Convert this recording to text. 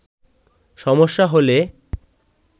সমস্যা হলে